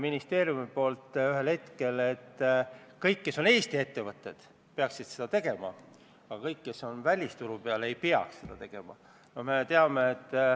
Pöördun teie poole Reformierakonna fraktsiooni nimel ettepanekuga meresõiduohutuse seaduse muutmise seaduse eelnõu 47 teine lugemine katkestada.